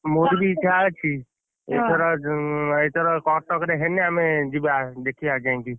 ମୋର ବି ଇଚ୍ଛା ଅଛି ଏଥର ଯଉଁ ଏଥର କଟକରେ ହେନେ ଆମେ ଯିବା ଦେଖିବା ଯାଇଁକି!